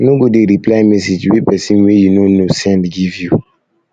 no go dey reply message wey pesin wey you no know send give you